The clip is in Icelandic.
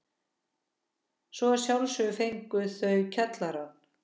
Svo að sjálfsögðu fengu þau kjallarann.